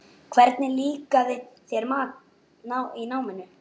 Hvernig líkaði þér í náminu?